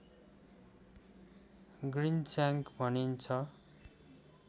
ग्रिनस्याङ्क भनिन्छ